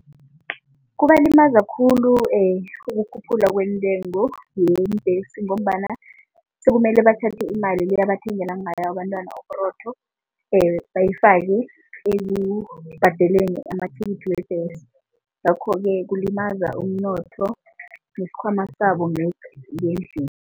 Kubalimaza khulu ukukhuphuka kweentengo yeembhesi ngombana sekumele bathathe imali le abathengele ngayo abantwana uburotho bayifake ekubhadeleni amathikithi webhesi, ngakho-ke kulimaza umnotho nesikhwama ngendlini.